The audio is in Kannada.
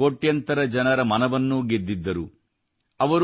ಕೋಟ್ಯಂತರ ಜನರ ಮನವನ್ನೂ ಗೆದ್ದಿದ್ದರು